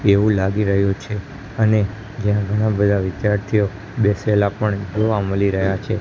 એવુ લાગી રહ્યુ છે અને ઘણા બધા વિધાર્થીઓ બેસેલા પણ જોવા મલી રહ્યા છે.